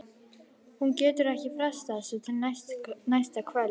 Hún getur ekki frestað þessu til næsta kvölds.